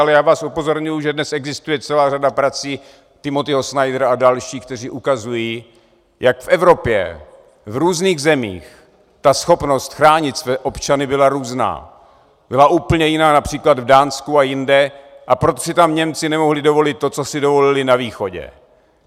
Ale já vás upozorňuji, že dnes existuje celá řada prací Timothyho Snydera a dalších, kteří ukazují, jak v Evropě v různých zemích ta schopnost chránit své občany byla různá, byla úplně jiná například v Dánsku a jinde, a proč si tam Němci nemohli dovolit to, co si dovolili na východě.